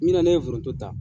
Min na ne ye foroto ta.